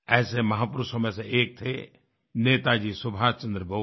ऐसे महापुरुषों में से एक थे नेताजी सुभाष चन्द्र बोस